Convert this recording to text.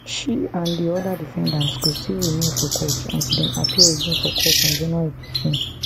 she and di oda defendants go still remain for custody until dem appear again for court on january thirteen